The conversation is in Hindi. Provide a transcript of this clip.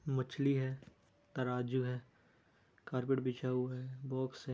मछली है तराजू है कारपेट बिछा हुआ है बॉक्स है।